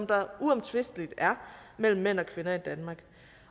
der uomtvisteligt er mellem mænd og kvinder i danmark